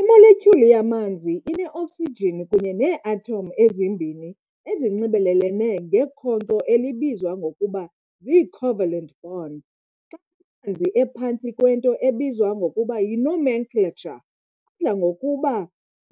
Imoletyhuli yamanzi ine-oksijini kunye nee-athom ezimbini ezinxibelelene ngekhonkco elibizwa ngokuba zii-covalant bond. Xa amanzi ephantsi kwento ebizwa ngokuba yi-nomenclature adla ngokuba